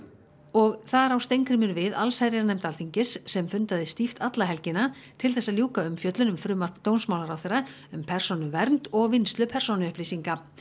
og þar á Steingrímur við allsherjarnefnd Alþingis sem fundaði stíft alla helgina til þess að ljúka umfjöllun um frumvarp dómsmálaráðherra um persónuvernd og vinnslu persónuupplýsinga